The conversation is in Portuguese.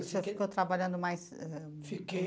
Você ficou trabalhando mais ãh... Fiquei.